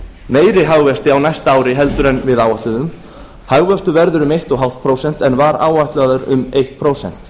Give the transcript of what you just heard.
meiri hagvexti á næsta ári en við áætluðum hagvöxtur verður um eins og hálft prósent en var áætlaður um eitt prósent